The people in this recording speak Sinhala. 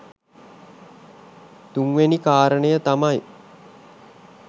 තුන් වැනි කාරණය තමයි